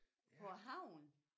På æ havn